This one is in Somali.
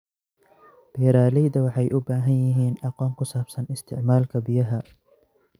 Beeralayda waxay u baahan yihiin aqoon ku saabsan isticmaalka biyaha.